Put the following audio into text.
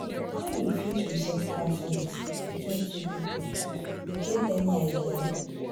how you fit resolve conflict between two people you get any idea?